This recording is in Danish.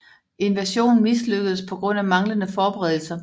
Invasionen mislykkedes på grund af manglende forberedelser